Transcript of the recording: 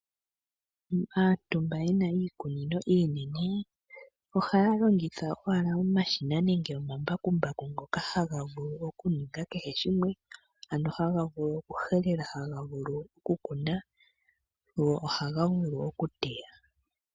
Aantu mba yena iikunino ohaya longitha owala omashina nenge omambakumbu ngoka haga vulu kehe shimwe ,ano haga vulu okuhelela ,haga vulu okukuna go ohaga vulu okuteya.